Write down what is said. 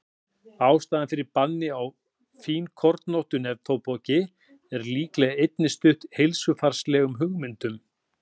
ástæðan fyrir banni á fínkornóttu neftóbaki er líklega einnig stutt heilsufarslegum hugmyndum